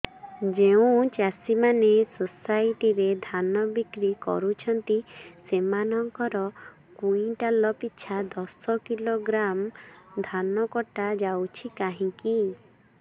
ଯେଉଁ ଚାଷୀ ମାନେ ସୋସାଇଟି ରେ ଧାନ ବିକ୍ରି କରୁଛନ୍ତି ସେମାନଙ୍କର କୁଇଣ୍ଟାଲ ପିଛା ଦଶ କିଲୋଗ୍ରାମ ଧାନ କଟା ଯାଉଛି କାହିଁକି